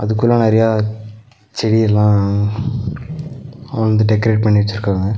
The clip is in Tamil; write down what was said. அதுக்குள்ள நெறைய செடி எல்லா வந்து டெக்கரேட் பண்ணி வெச்சிருக்காங்க.